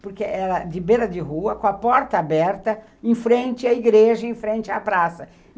Porque era de beira de rua, com a porta aberta, em frente à igreja, em frente à praça.